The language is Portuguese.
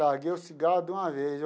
Larguei o cigarro de uma vez.